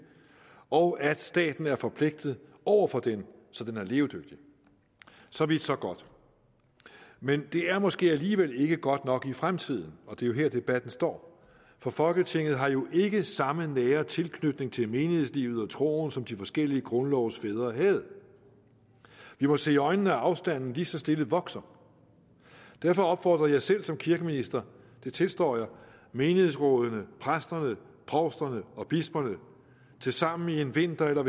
og punkt to at staten er forpligtet over for den så den er levedygtig så vidt så godt men det er måske alligevel ikke godt nok i fremtiden og det er her debatten står for folketinget har jo ikke samme nære tilknytning til meninghedslivet og troen som de forskellige grundlovsfædre havde vi må se i øjnene at afstanden lige så stille vokser derfor opfordrede jeg selv som kirkeminister det tilstår jeg menighedsrådene præsterne provsterne og bisperne til sammen en vinter eller